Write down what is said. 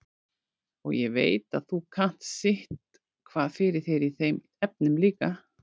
Og ég veit að þú kannt sitthvað fyrir þér í þeim efnum líka.